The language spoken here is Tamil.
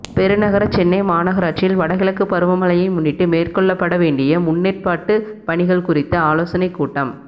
பெருநகர சென்னை மாநகராட்சியில் வடகிழக்கு பருவமழையை முன்னிட்டு மேற்கொள்ளப்பட வேண்டிய முன்னேற்பாட்டு பணிகள் குறித்த ஆலோசனைக் கூட்டம்